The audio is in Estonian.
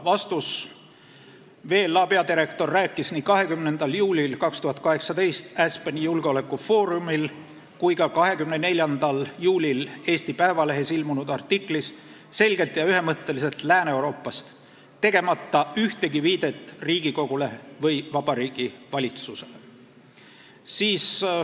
Vastus: VLA peadirektor rääkis nii 20. juulil 2018 Aspeni julgeolekufoorumil kui ka 24. juulil Eesti Päevalehes ilmunud artiklis selgelt ja ühemõtteliselt Lääne-Euroopast, tegemata ühtegi viidet Riigikogule või Vabariigi Valitsusele.